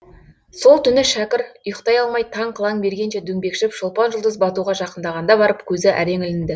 сол түні шәкір ұйықтай алмай таң қылаң бергенше дөңбекшіп шолпан жұлдыз батуға жақындағанда барып көзі әрең ілінді